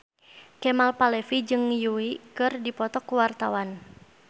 Kemal Palevi jeung Yui keur dipoto ku wartawan